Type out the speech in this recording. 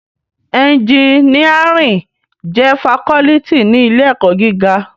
Ènjìníárìn jè fákòlìtí ni ilé èkò gigá